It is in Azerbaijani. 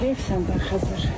Heyf sənə Xəzər.